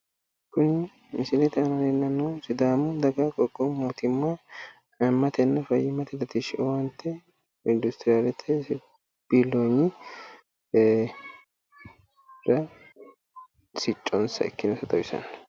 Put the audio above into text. Kuni misilete aana leellannohu sidaamu daga dagoomi qoqqowu mootimma fayyimmate latishi owaante industriyalete biilloonyira sicconsa ikkinota xawisanno